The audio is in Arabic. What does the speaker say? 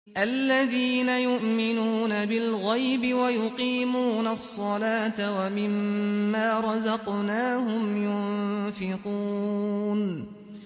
الَّذِينَ يُؤْمِنُونَ بِالْغَيْبِ وَيُقِيمُونَ الصَّلَاةَ وَمِمَّا رَزَقْنَاهُمْ يُنفِقُونَ